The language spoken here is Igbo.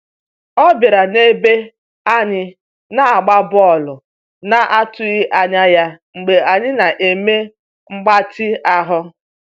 Ọ bịara n'ebe anyị na-agba bọọlụ na atụghị anya ya Mgbe anyị na-eme mgbatị ahụ.